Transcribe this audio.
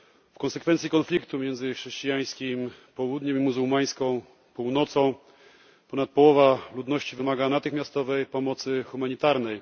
W konsekwencji konfliktu między chrześcijańskim południem i muzułmańską północą ponad połowa ludności wymaga natychmiastowej pomocy humanitarnej.